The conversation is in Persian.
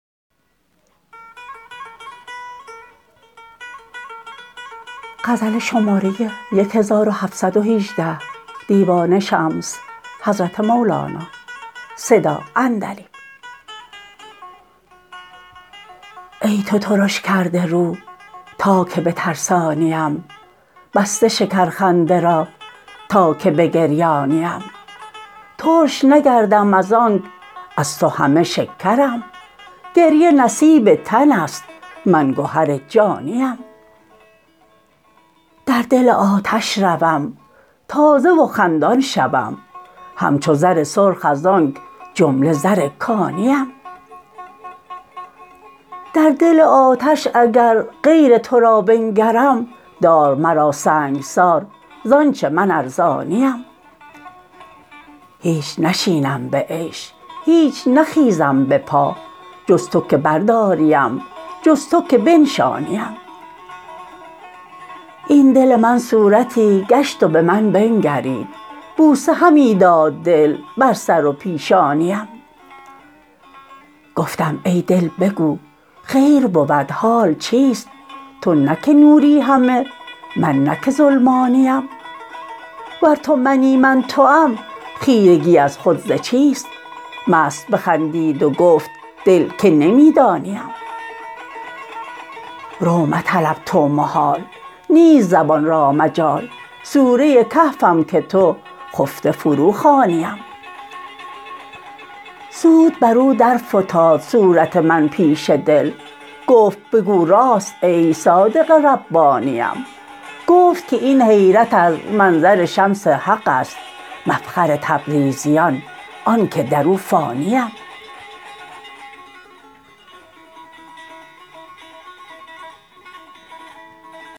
ای تو ترش کرده رو تا که بترسانیم بسته شکرخنده را تا که بگریانیم ترش نگردم از آنک از تو همه شکرم گریه نصیب تن است من گهر جانیم در دل آتش روم تازه و خندان شوم همچو زر سرخ از آنک جمله زر کانیم در دل آتش اگر غیر تو را بنگرم دار مرا سنگسار ز آنچ من ارزانیم هیچ نشینم به عیش هیچ نخیزم به پا جز تو که برداریم جز تو که بنشانیم این دل من صورتی گشت و به من بنگرید بوسه همی داد دل بر سر و پیشانیم گفتم ای دل بگو خیر بود حال چیست تو نه که نوری همه من نه که ظلمانیم ور تو منی من توام خیرگی از خود ز چیست مست بخندید و گفت دل که نمی دانیم رو مطلب تو محال نیست زبان را مجال سوره کهفم که تو خفته فروخوانیم زود برو درفتاد صورت من پیش دل گفت بگو راست ای صادق ربانیم گفت که این حیرت از منظر شمس حق است مفخر تبریزیان آنک در او فانیم